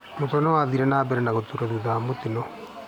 Mũtwe nĩwathire nambere na gũtura thutha wa mũtino